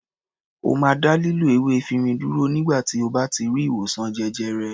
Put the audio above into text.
Ó máa dá lílo ewé efirin dúró nígbà tí ó bá ti rí ìwòsàn jẹjẹrẹ.